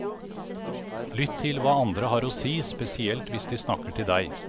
Lytt til hva andre har å si, spesielt hvis de snakker til deg.